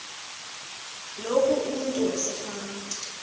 loku umntu wasefama